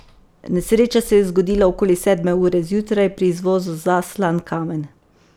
Nesreča se je zgodila okoli sedme ure zjutraj, pri izvozu za Slankamen.